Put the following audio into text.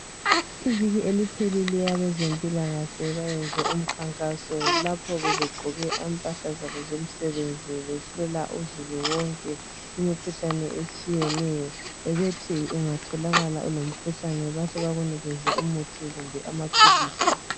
Iviki eliphelileyo abezempilakahle bayenze umkhankaso lapho bebegqoke impahla zabo zomsebenzi behlola uzulu wonke imikhuhlane etshiyeneyo bebethi ungatholakala ulomkhuhlane bahle bekunikeze umuthi kumbebamaphilizi.